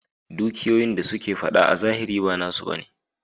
Dukiyoyin da suke fada a zahiri ba nasu ba ne.